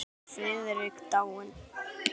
Nú er afi Friðrik dáinn.